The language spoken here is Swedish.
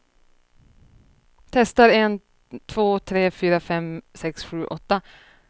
Testar en två tre fyra fem sex sju åtta.